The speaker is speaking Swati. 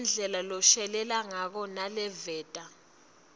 ngendlela leshelelako naleveta